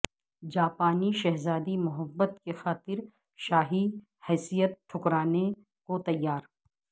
جاپانی شہزادی محبت کی خاطر شاہی حیثیت ٹھکرانے کو تیار